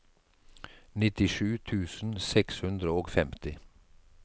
nittisju tusen seks hundre og femti